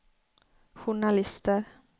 journalister